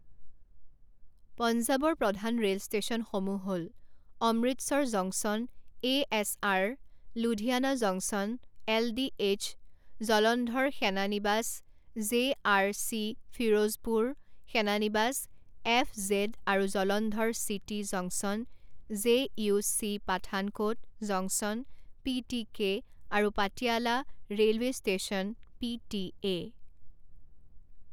পঞ্জাবৰ প্ৰধান ৰেল ষ্টেচনসমূহ হ'ল Amritsar junction A S R, Ludhiana junction L D H Jalandhar সেনানিবাস জে আৰ চি ফিৰোজপুৰ সেনানিবাস F Z R Jalandhar city junction J U C Pathankot junction P T K আৰু Patiala railway station P T এ।